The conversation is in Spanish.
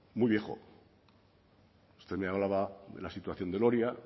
muy viejo